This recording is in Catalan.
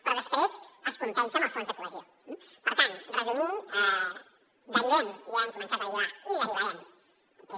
però després es compensa amb els fons de cohesió eh per tant resumint derivem ja hem començat a derivar i derivarem